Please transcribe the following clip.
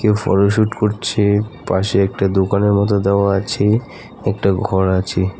কেউ ফটোশুট করছে। পাশে একটা দোকানের মতো দেওয়া আছে। একটা ঘর আছে ।